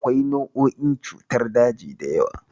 Akwai nau'o'in cutar daji da yawa.